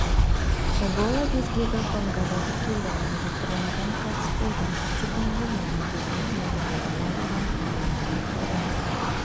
эбола безгегі конгода тіркелді оны жұқтырған адамның қайтыс болды чикунгунья безгегімен елде адам ауырған өліммен аяқталған